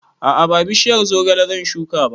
A'a ba bishiyar zogale zan shuka ba